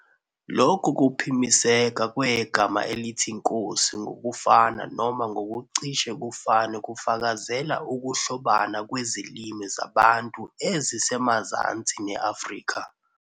Lokhu kuphimiseka kwegama elithi nkosi ngokufana noma ngokucishe kufane kufakazela ukuhlobana kwezilimi zaBantu ezisemazansi ne-Afrika.